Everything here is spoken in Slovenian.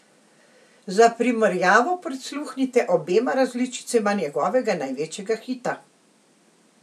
Za primerjavo prisluhnite obema različicama njegovega največjega hita!